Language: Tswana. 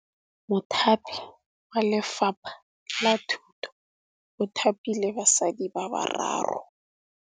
Mothapi wa Lefapha la Thutô o thapile basadi ba ba raro.